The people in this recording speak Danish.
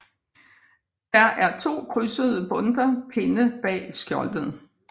Der er to krydsede bundter pinde bag skjoldet